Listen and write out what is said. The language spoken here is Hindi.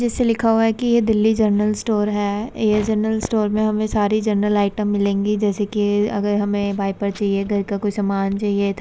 जैसे लिखा हुआ है की ये दिल्ली जनरल स्टोर है। यह जनरल स्टोर में हमें सारी जनरल आइटम मिलेंगी जैसे कि अगर हमें वाइपर चाहिए घर का कोई सामान चाहिए।